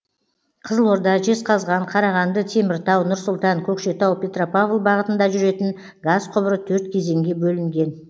қызылорда жезқазған қарағанды теміртау нұр сұлтан көкшетау петропавл бағытында жүретін газ құбыры төрт кезеңге бөлінген